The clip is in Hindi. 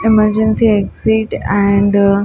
emergency exit and --